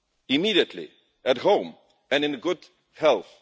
immediately, at home and in good health.